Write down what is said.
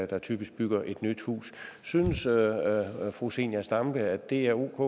der typisk bygger et hus synes fru zenia stampe at det er